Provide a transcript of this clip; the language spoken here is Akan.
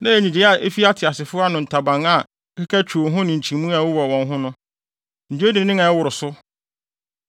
Na ɛyɛ nnyigyei a efi ateasefo no ntaban a ɛkeka twiw ho ne nkyimii a ɛwowɔ wɔn ho no. Nnyigyei dennen a ɛworo so.